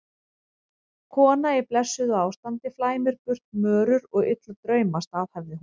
Kona í blessuðu ástandi flæmir burt mörur og illa drauma, staðhæfði hún.